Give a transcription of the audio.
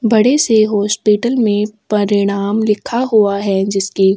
बड़े से हॉस्पिटल में परिणाम लिखा हुआ है जिसके --